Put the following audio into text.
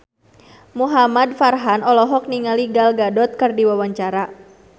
Muhamad Farhan olohok ningali Gal Gadot keur diwawancara